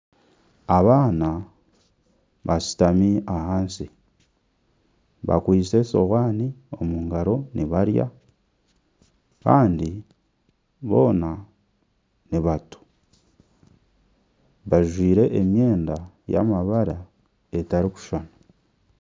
Abaana bashutami ahansi bakwitse esohaani omu ngaro nibarya kandi boona nibato bajwire emyenda y'amabara etarikushushani